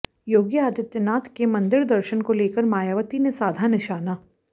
योगी आदित्यनाथ के मंदिर दर्शन को लेकर मायावती ने साधा निशाना